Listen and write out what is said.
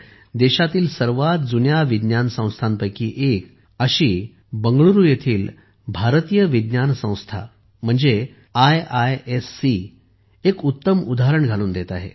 देशातील सर्वात जुन्या विज्ञान संस्थांपैकी एक अशी बेंगलुरू येथील भारतीय विज्ञान संस्था म्हणजे आयआयएससी एक उत्तम उदाहरण घालून देत आहे